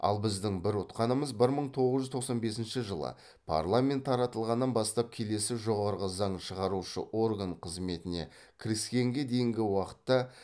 ал біздің бір ұтқанымыз бір мың тоғыз жүз тоқсан бесінші жылы парламент таратылғаннан бастап келесі жоғарғы заң шығарушы орган қызметіне кіріскенге дейінгі уақытта